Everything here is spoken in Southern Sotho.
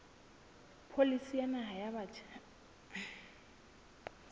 pholisi ya naha ya batjha